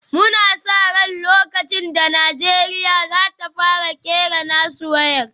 Muna sa ran lokacin da Najeriya za ta fara kera nasu wayar